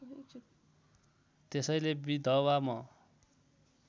त्यसैले विधवा म